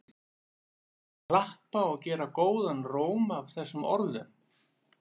Gestir klappa og gera góðan róm að þessum orðum.